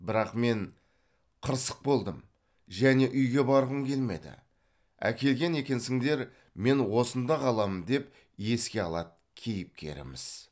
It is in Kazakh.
бірақ мен қырсық болдым және үйге барғым келмеді әкелген екенсіңдер мен осында қаламын деп еске алады кейіпкеріміз